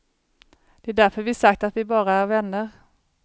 Det är därför vi sagt att vi bara är vänner.